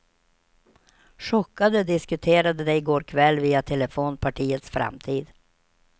Chockade diskuterade de i går kväll via telefon partiets framtid.